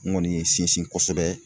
Ŋɔni ye n sinsin kosɛbɛ